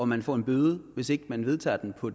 man får en bøde hvis man ikke vedtager den på